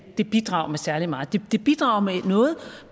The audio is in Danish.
at det bidrager med særlig meget det bidrager med noget